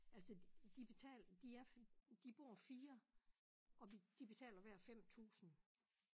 Altså de betal de er de bor 4 og de betaler hver 5000